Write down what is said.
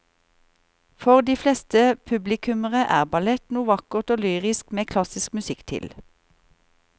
For de fleste publikummere er ballett noe vakkert og lyrisk med klassisk musikk til.